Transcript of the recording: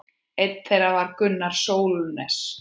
Einn þeirra var Gunnar Sólnes.